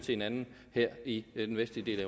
hinanden her i den vestlige